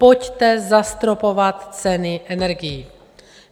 Pojďte zastropovat ceny energií.